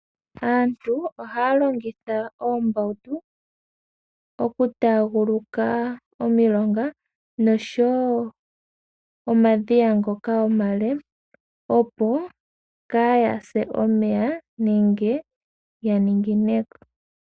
Aantu ohaya longitha oombautu oku taaguluka omilonga noshowo omadhiya ngoka omale, opo kaya se omeya nenge ya ningineko.